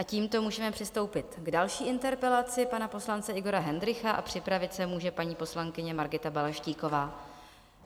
A tímto můžeme přistoupit k další interpelaci pana poslance Igora Hendrycha a připravit se může paní poslankyně Margita Balaštíková.